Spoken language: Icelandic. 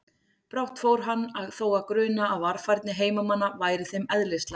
Brátt fór hann þó að gruna að varfærni heimamanna væri þeim eðlislæg.